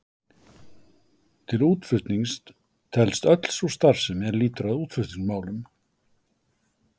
Til útflutnings telst öll sú starfsemi er lýtur að útflutningsmálum.